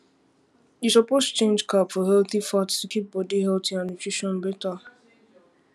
you suppose change carb for healthy fat to keep body healthy and nutrition better